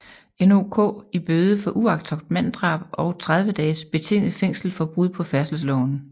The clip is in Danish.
NOK i bøde for uagtsomt manddrab og 30 dages betinget fængsel for brud på færdselsloven